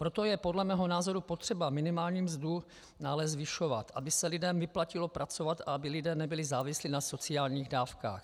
Proto je podle mého názoru potřeba minimální mzdu dále zvyšovat, aby se lidem vyplatilo pracovat a aby lidé nebyli závislí na sociálních dávkách.